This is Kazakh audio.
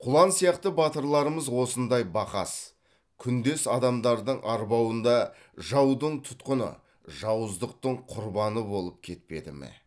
құлан сияқты батырларымыз осындай бақас күндес адамдардың арбауында жаудың тұтқыны жауыздықтың құрбаны болып кетпеді ме